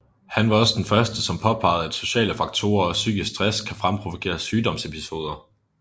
Han var også den første som påpegede at sociale faktorer og psykisk stress kan fremprovokere sygdomsepisoder